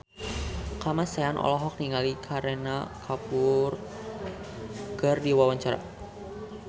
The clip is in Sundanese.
Kamasean olohok ningali Kareena Kapoor keur diwawancara